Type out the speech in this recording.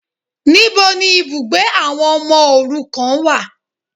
Níbo ni ibùgbé àwọn ọmọ òrukàn wà